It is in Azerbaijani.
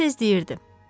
Tez-tez deyirdi.